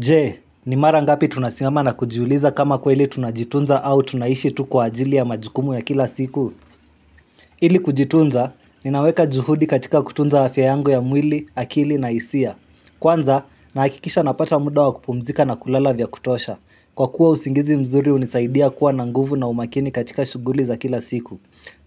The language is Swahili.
Je, ni mara ngapi tunasimama na kujiuliza kama kweli tunajitunza au tunaishi tu kwa ajili ya majukumu ya kila siku? Ili kujitunza, ninaweka juhudi katika kutunza afya yangu ya mwili, akili na hisia. Kwanza, nahakikisha napata muda wa kupumzika na kulala vya kutosha. Kwa kuwa usingizi mzuri unisaidia kuwa na nguvu na umakini katika shuguli za kila siku.